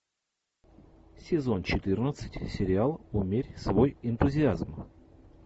сезон четырнадцать сериал умерь свой энтузиазм